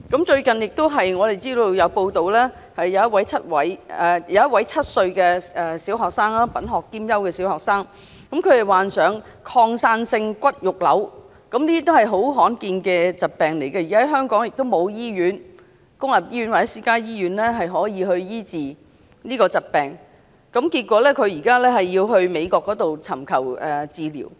最近有一則報道，一名7歲品學兼優的小學生患上擴散性骨肉瘤，這是很罕見的疾病，而且香港無論公立醫院或私家醫院也未能醫治這個疾病，結果他需要到美國尋求治療。